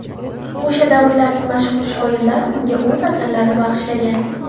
O‘sha davrlarning mashhur shoirlar unga o‘z asarlarini bag‘ishlagan.